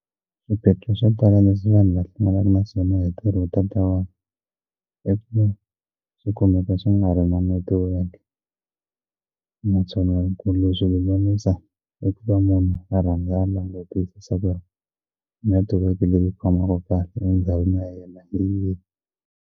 Swiphiqo swo tala leswi vanhu va hlanganaka na swona hi ntirho was i ku swikumeka swi nga ri na network naswona ku ri swi lulamisa i ku va munhu a rhandza a langutisa ku ri network leyi yi khomaka kahle endhawini ya yena hi yini.